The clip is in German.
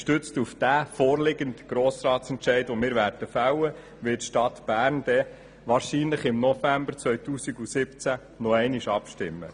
Gestützt auf den von uns zu fällenden Grossratsbeschluss wird die Stadt Bern wahrscheinlich im November 2017 nochmals abstimmen.